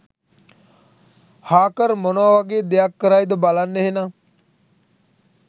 Harker මොනවා වගේ දෙයක් කරයිද බලන්න එහෙනම්